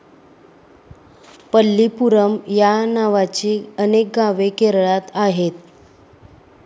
पल्लीपुरम या नावाची अनेक गावे केरळात आहेत.